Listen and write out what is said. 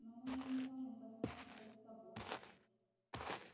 но мы же не можем таскать тебя с собой